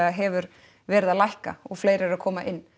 hefur verið að lækka og fleiri eru að koma inn